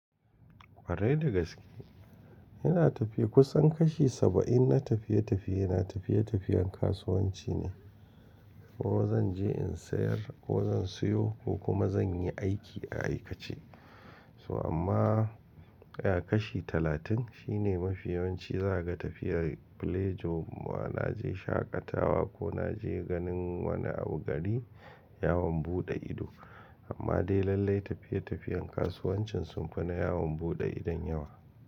Kwarai da gaske. Ina tafiya kusan kashi saba'in na tafiye-tafiye, na tafiye-tafiyen kasuwanci ne. Ko zan je in sayar, ko zan siyo ko kuma zan yi aiki a aikace. So amma, ya kashi talatin shine mafi yawanci za ka ga tafiyar play job, ma na je shaƙatawa ko na je ganin wani abu gari, yawon buɗe ido. Amma dai lallai tafiye-tafiyen kasuwancin sun fi na yawon buɗe idon yawa.